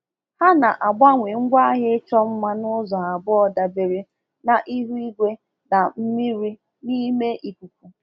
Ha na-agbanwe ngwaahịa ịchọ mma n’ụzọ abụọ dabere na ihu igwe na mmiri n’ime ikuku.